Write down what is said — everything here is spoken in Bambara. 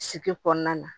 Sigi kɔnɔna na